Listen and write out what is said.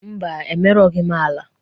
Mba, emerughi m ala.